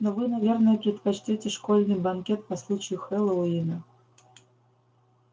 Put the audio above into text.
но вы наверное предпочтёте школьный банкет по случаю хэллоуина